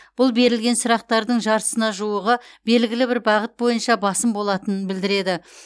бұл берілген сұрақтардың жартысына жуығы белгілі бір бағыт бойынша басым болатынын білдіреді